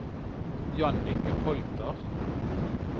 Jannicke Holter